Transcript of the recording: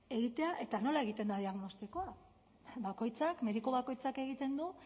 egitea eta nola egiten da diagnostikoa bakoitzak mediku bakoitzak egiten du